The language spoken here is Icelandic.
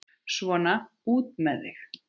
Svona, út með þig!